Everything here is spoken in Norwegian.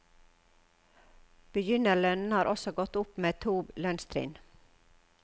Begynnerlønnen har også gått opp med to lønnstrinn.